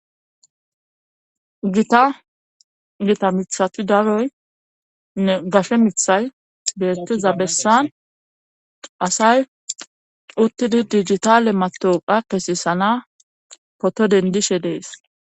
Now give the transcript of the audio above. gita gita mithati daroynne gashe mithay beettiza bessan asay uttidi digitale matoqa kesisana poto dendishe dees